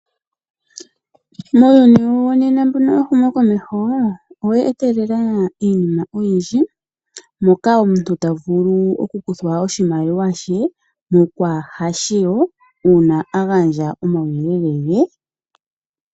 Muuyuni wo nena mbuno wehumo komeho, owe etelela iinima oyi ndji moka omuntu ta vulu oku kuthwa oshimaliwa she mokwaa hashiwo uuna agandja omawuyelele ge.